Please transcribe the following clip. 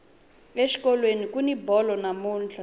exikolweni kuni bolo namuntlha